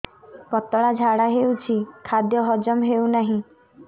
ପତଳା ଝାଡା ହେଉଛି ଖାଦ୍ୟ ହଜମ ହେଉନାହିଁ